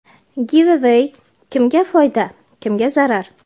Give-away – kimga foyda, kimga zarar?.